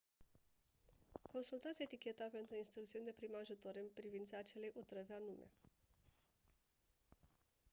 consultați eticheta pentru instrucțiuni de prim ajutor în privința acelei otrăvi anume